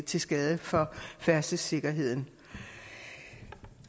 til skade for færdselssikkerheden